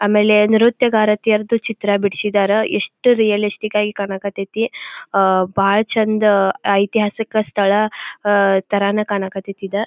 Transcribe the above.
ಆಮೇಲೆ ನೃತ್ಯ ಗಾರತಿಯರದು ಚಿತ್ರ ಬಿಡಿಸಿದ್ದರ್ ಎಷ್ಟು ರಿಯಲಿಸ್ಟಿಕ್ ಆಗಿ ಕಾಣ್ ಕತ್ತತಿ ಅಹ್ ಬಾಳ್ ಚಂದ ಐತಿಹಾಸಿಕ ಸ್ಥಳ ಅಹ್ ತರನೇ ಕಾಣ್ ಕತ್ತತಿ ಇದ್.